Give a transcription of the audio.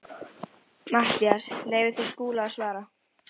MATTHÍAS: Leyfið þið Skúla að svara.